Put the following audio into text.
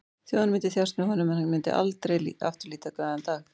Þjóðin myndi þjást með honum en hann myndi aldrei aftur líta glaðan dag.